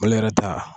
Mali yɛrɛ ta